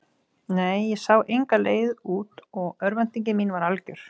Nei, ég sá enga leið út og örvænting mín var algjör.